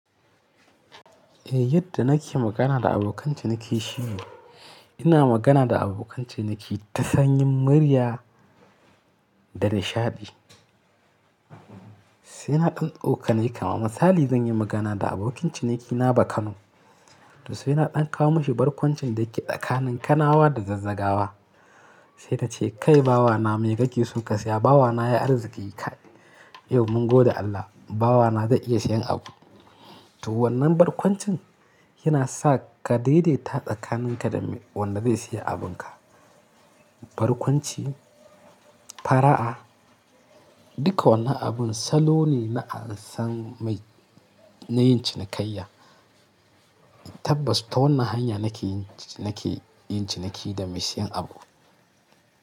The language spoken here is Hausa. Eh, yadda nake magana da abokan ciniki shi ne ina magana da abokan ciniki ta sanyin murya da nishaɗi. Sai na ɗan tsokane kama misali zan yi magana da abokin cinikina ba Kano. To sai na ɗanka mashi barkwancin da ke tsakanin kanawa da zazzagawa. Sai ta ce, “Kai bawana, me kake so ka saya?” Bawana ya yi arziki kai. Yau mun gode Allah, bawana zai iya siyan abu. To wannan barkwancin yana sa ka daidaita tsakaninka da mai wannan zai siya abinka. Barkwanci, fara'a, duka wannan abun salo ne na an san mai na yin cinikayya. Tabbas, ta wannan hanya nake yin, nake yin ciniki da mai siyan abu.